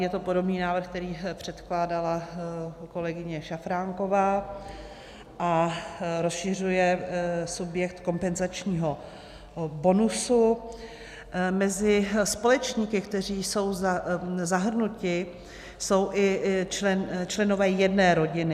Je to podobný návrh, který předkládala kolegyně Šafránková, a rozšiřuje subjekt kompenzačního bonusu mezi společníky, kteří jsou zahrnuti, jsou i členové jedné rodiny.